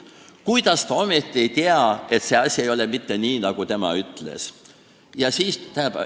Kuidas ta ometi ei tea, et see asi ei ole mitte nii, nagu tema ütles?